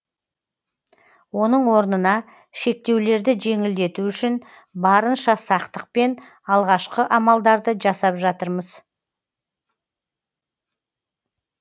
оның орнына шектеулерді жеңілдету үшін барынша сақтықпен алғашқы амалдарды жасап жатырмыз